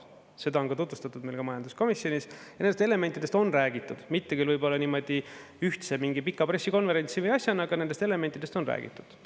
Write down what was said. Seda on tutvustatud meile ka majanduskomisjonis ja nendest elementidest on räägitud, mitte küll niimoodi ühtse mingi pika pressikonverentsi või asjana, aga nendest elementidest on räägitud.